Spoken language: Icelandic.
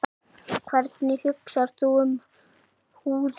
Hvernig hugsar þú um húðina?